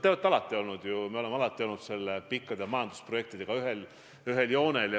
Teiega me oleme alati olnud pikaajaliste majandusprojektidega ühel joonel.